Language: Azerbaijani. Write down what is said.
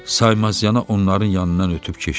Saymaz yana onların yanından ötüb keçdi.